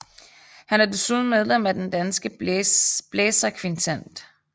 Han er desuden medlem af Den Danske Blæserkvintet